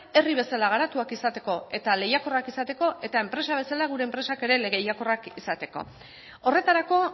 herri bezala garatuak izateko eta lehiakorrak izateko eta enpresa bezala gure enpresak ere lehiakorrak izateko horretarako